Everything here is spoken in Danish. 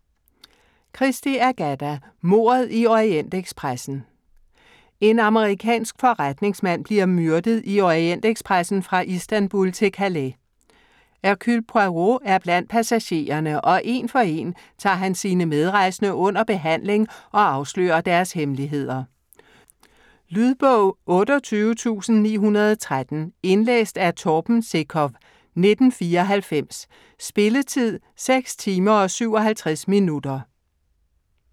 Christie, Agatha: Mordet i Orientekspressen En amerikansk forretningsmand bliver myrdet i Orientekspressen fra Istanbul til Calais. Hercule Poirot er blandt passagererne, og én for én tager han sine medrejsende under behandling og afslører deres hemmeligheder. Lydbog 28913 Indlæst af Torben Sekov, 1994. Spilletid: 6 timer, 57 minutter.